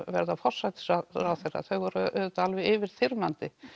verða forsætisráðherra þau voru auðvitað alveg yfirþyrmandi